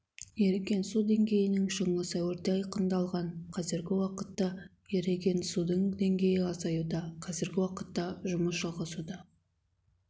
еріген су деңгейінің шыңы сәуірде айқындалған қазіргі уақытта еріген судың деңгейі азаюда қазіргі уақытта жұмыс жалғасуда